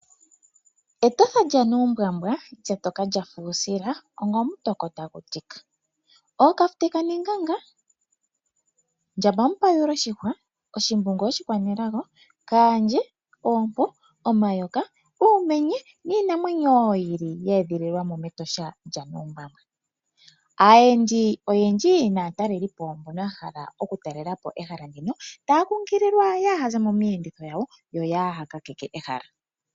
Etosha lya nuumbwambwa lyatoka lyafa uusila onga omutoko tagu tika . Ookafute kanenganga ,ndjamba mupayula oshihwa, oshimbungu oshikwanelago, kaandje, oompo, uumenye niinamwenyo woo yi ili ye edhililwamo metosha lya nuumbwambwa. Aayensi oyendji naatalelipo mbono yahala oku talelapo ehala ndino otaya kunkililwa kaya zero miiyenditho yawo yo kaya kakeke ehala.